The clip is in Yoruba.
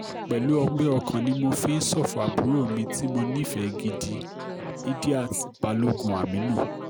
pẹ̀lú ọgbẹ́ ọkàn ni mo fi ń ṣọ̀fọ̀ àbúrò mi tí mo nífẹ̀ẹ́ gidigidi idiat balogun aminu